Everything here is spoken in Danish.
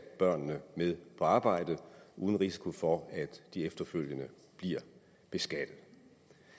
børnene med på arbejde uden risiko for at de efterfølgende bliver beskattet